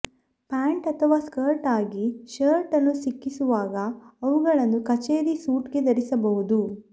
pant ಅಥವಾ skirt ಆಗಿ shirt ಅನ್ನು ಸಿಕ್ಕಿಸುವಾಗ ಅವುಗಳನ್ನು ಕಚೇರಿ ಸೂಟ್ಗೆ ಧರಿಸಬಹುದು